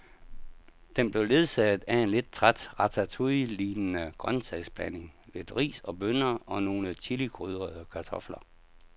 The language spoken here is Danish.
Den blev ledsaget af en lidt træt ratatouillelignende grøntsagsblanding, lidt ris og bønner og nogle chilikrydrede kartofler.